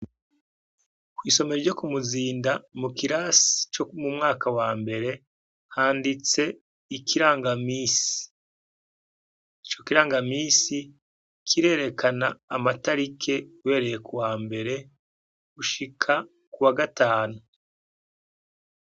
Kw'isomera ryo ku muzinda mu kirasi co mu mwaka wa mbere handitse gico kiranga misi kirerekana amatarike bereye ku wa mbere gushika ku wa gatanu.